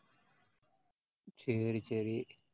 சரி சரி.